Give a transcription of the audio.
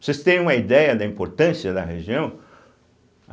Vocês têm uma ideia da importância da região?